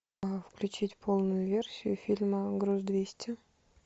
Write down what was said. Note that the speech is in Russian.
включить полную версию фильма груз двести